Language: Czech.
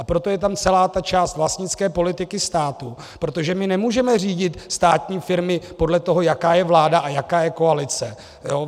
A proto je tam celá ta část vlastnické politiky státu, protože my nemůžeme řídit státní firmy podle toho, jaká je vláda a jaká je koalice.